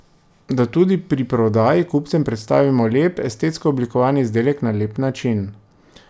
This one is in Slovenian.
Da tudi pri prodaji kupcem predstavimo lep, estetsko oblikovan izdelek na lep način.